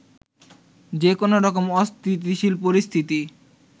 যেকোন রকম অস্থিতিশীল পরিস্থিতি